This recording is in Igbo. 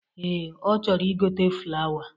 Ee, ọ chọrọ igote flawa